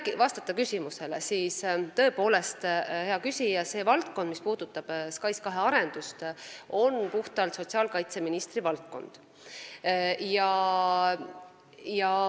Kui vastata küsimusele, siis tõepoolest, hea küsija, see valdkond, mis puudutab SKAIS2 arendust, on puhtalt sotsiaalkaitseministri valdkond.